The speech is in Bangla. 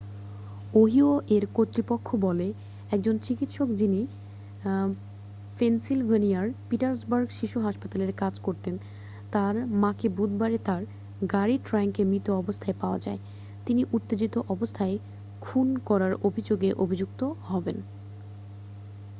ওহিও এর কর্তৃপক্ষ বলে একজন চিকিৎসক যিনি পেনসিল্ভেনিয়ার পিটসবার্গ শিশু হাসপাতালে কাজ করতেন তার মাকে বুধবারে তার গাড়ির ট্রাঙ্কে মৃত অবস্থায় পাওয়া যাওয়ায় তিনি উত্তেজিত অবস্থায় খুন করার অভিযোগে অভিযুক্ত হবেন